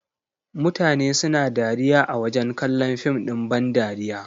Mutane suna dariya a wajen kallon fim ɗin ban dariya.